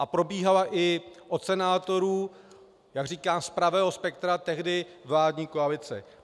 A probíhala i od senátorů, jak říkám, z pravého spektra tehdy vládní koalice.